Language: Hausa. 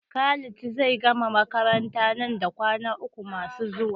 Khalid zai gama makaranta nan da kwana uku masu zuwa.